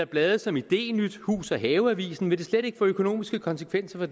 blade som idényt og hus have avisen slet ikke få økonomiske konsekvenser